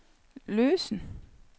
løsen